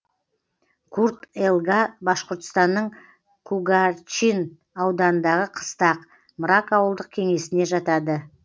курт елга башқұртстанның кугарчин ауданындағы қыстақ мрак ауылдық кеңесіне жатады